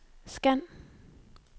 scan